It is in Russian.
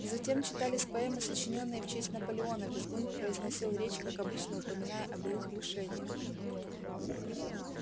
затем читались поэмы сочинённые в честь наполеона визгун произносил речь как обычно упоминая о былых лишениях